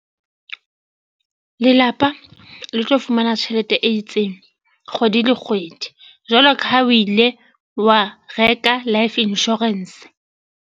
Lelapa le tlo fumana tjhelete e itseng kgwedi le kgwedi jwalo ka ha o ile wa reka life insurance.